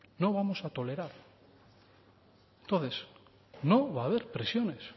no vamos a tolerar entonces no va haber presiones